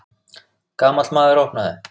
Gamall maður opnaði.